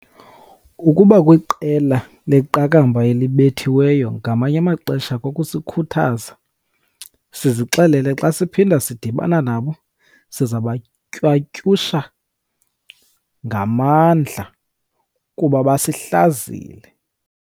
Ukuba kwiqela leqakamba elibethiweyo ngamanye amaxesha kukusikhuthaza sizixelele xa siphinda sidibana nabo siza kubatywatyusha ngamandla kuba basihlazile.